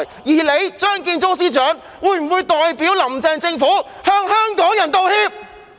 而張建宗司長會否代表"林鄭"政府向香港人道歉？